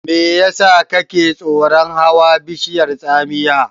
Me yasa kake tsoron hawa bishiyar tsamiya?